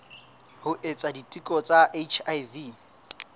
ho etsa diteko tsa hiv